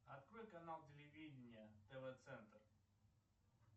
открой канал телевидение тв центр